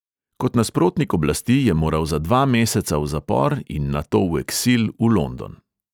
Kot nasprotnik oblasti je moral za dva meseca v zapor in nato v eksil v london.